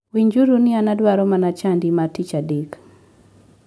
Winjuru ni an adwaro mana chadi ma tich adek.